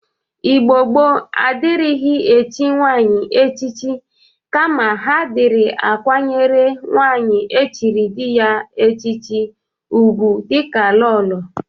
Igbo gboo adịrịghị echi nwaanyị echichi kama ha dịrị akwanyere nwaanyị echiri dị ya echichi ụgwụ dịka lolo.